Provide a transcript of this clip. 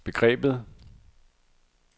begrebet